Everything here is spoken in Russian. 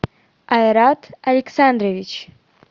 айрат александрович